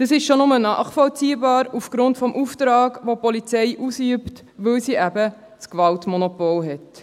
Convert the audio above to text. Dies ist nur schon nachvollziehbar aufgrund des Auftrags, den die Polizei ausübt, weil sie eben das Gewaltmonopol hat.